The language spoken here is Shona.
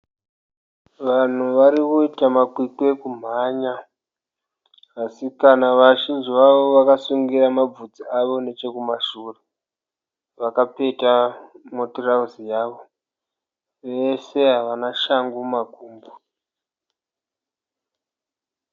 Vanhu varikuita makwikwi ekumhanya, vasikana , vazhinji vavo vakasungira mabvudzi avo nechekumashure, vakapeta mutirauzi yavo. Vese havana shangu mumakumbo.